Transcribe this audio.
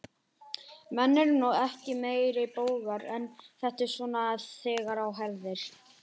Menn eru ekki meiri bógar en þetta, svona þegar á herðir.